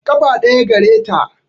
Ƙafa ɗaya gare ta